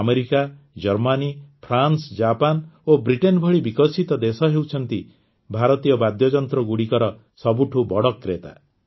America Germany France Japan ଓ Britain ଭଳି ବିକଶିତ ଦେଶ ହେଉଛନ୍ତି ଭାରତୀୟ ବାଦ୍ୟଯନ୍ତ୍ରଗୁଡ଼ିକର ସବୁଠୁ ବଡ଼ କ୍ରେତା